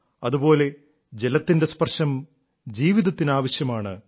അതുപോലെ ജലത്തിന്റെ സ്പർശം ജീവിതത്തിന് ആവശ്യമാണ്